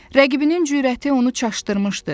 Rəqibinin cürəti onu çaşdırmışdı.